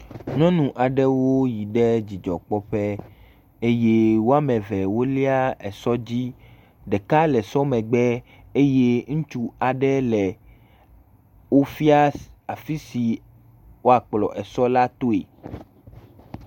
Nyɔnu aɖewo yi ɖe dzidzɔkpɔƒe eye woa me eve wolia esɔ dzi. Ɖeka le esɔ ƒe megbe eye ŋutsu aɖe le wofia afi si woakplɔ esɔ la toe.